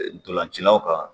Dɔlancinaw kan.